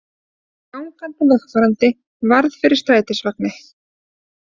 Gangandi vegfarandi varð fyrir strætisvagni